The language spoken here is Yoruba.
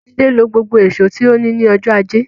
Jídé lo gbogbo ìṣó tí ó ní ní ọjọ́ ajé.